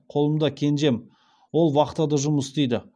қолымда кенжем ол вахтада жұмыс істейді